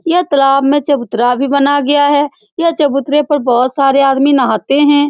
यह तालाब में चबूतरा भी बनाया गया है यह चबूतरे पर बहुत सारे आदमी नहाते हैं।